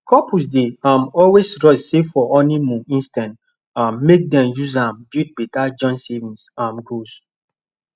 couples dey um always rush save for honeymoon instead um make dem use am build better joint savings um goals